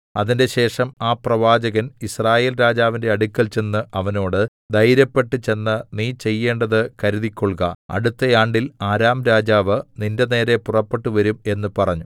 അതിന്‍റെശേഷം ആ പ്രവാചകൻ യിസ്രായേൽ രാജാവിന്റെ അടുക്കൽ ചെന്ന് അവനോട് ധൈര്യപ്പെട്ട് ചെന്ന് നീ ചെയ്യേണ്ടത് കരുതിക്കൊൾക അടുത്ത ആണ്ടിൽ അരാം രാജാവ് നിന്റെനേരെ പുറപ്പെട്ടുവരും എന്ന് പറഞ്ഞു